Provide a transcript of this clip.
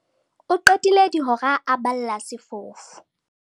o qetile dihora a balla sefofu